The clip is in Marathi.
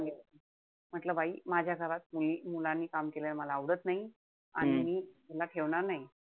म्हंटल बाई माझ्या घरात मुली मुलांनी काम केलेलं मला आवडत नाई. आणि मी हिला ठेवणार नाई.